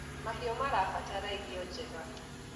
mahiũ irabatara irio njega